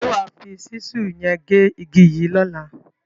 Ṣé wà á fi ṣísù yẹn gé igi yìí lọ́la?